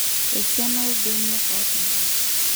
Esiana oorbenia otimiraki